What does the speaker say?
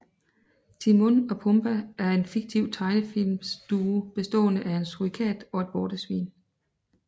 Timon og Pumba er en fiktiv tegnefilmsduo bestående af en surikat og et vortesvin